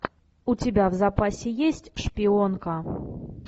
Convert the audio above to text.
у тебя в запасе есть шпионка